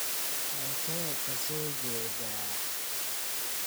Halkee ka so jeeda?